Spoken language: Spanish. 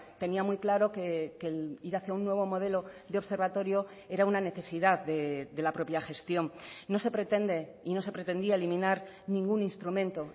tenía muy claro que el ir hacia un nuevo modelo de observatorio era una necesidad de la propia gestión no se pretende y no se pretendía eliminar ningún instrumento